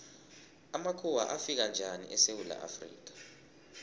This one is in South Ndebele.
amakhuwa afika njani esewula afrika